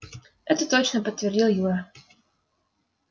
это точно подтвердил юра